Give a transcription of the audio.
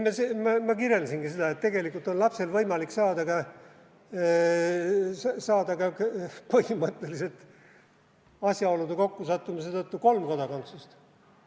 Ei no, ma kirjeldasingi seda, et tegelikult on lapsel põhimõtteliselt võimalik asjaolude kokkusattumise tõttu saada ka kolm kodakondsust.